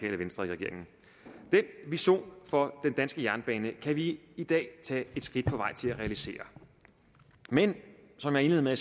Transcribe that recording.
venstre i regeringen den vision for den danske jernbane kan vi i dag tage et skridt på vej til at realisere men som jeg indledte med at